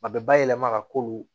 A bɛ bayɛlɛma ka k'olu